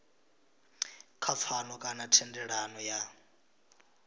kha pfano kana thendelano ya